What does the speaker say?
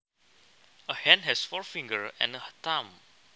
A hand has four fingers and a thumb